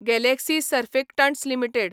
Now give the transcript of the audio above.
Galaxy Surfactants limited